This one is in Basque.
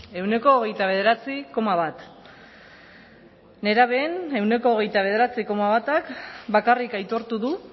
ehuneko hogeita bederatzi koma bat nerabeen ehuneko hogeita bederatzi koma batak bakarrik aitortu du